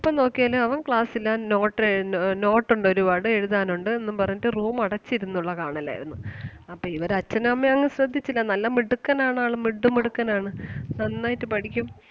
പ്പം നോക്കിയാലും അവൻ class ലാ note എഴുതുന്ന note ഒണ്ട് ഒരുപാട് എഴുതാൻ ഒണ്ട് എന്നും പറഞ്ഞിട്ട് room അടച്ചിരുന്നൊള്ള കാണൽ ആരുന്നു. അപ്പം ഇവര് അച്ഛനും അമ്മയും അങ്ങ് ശ്രദ്ധിച്ചില്ല നല്ല മിടുക്കൻ ആണ് ആള് മിടുമിടുക്കൻ ആണ് നന്നായിട്ട് പഠിക്കും.